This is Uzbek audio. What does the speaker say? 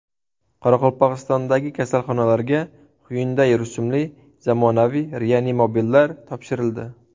Qoraqalpog‘istondagi kasalxonalarga Hyundai rusumli zamonaviy reanimobillar topshirildi.